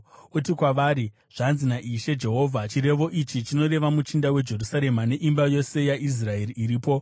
“Uti kwavari, ‘Zvanzi naIshe Jehovha: Chirevo ichi chinoreva muchinda weJerusarema neimba yose yaIsraeri iripo.’